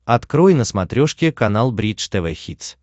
открой на смотрешке канал бридж тв хитс